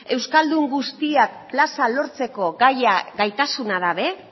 euskaldun guztiak plaza lortzeko gaia gaitasuna gabe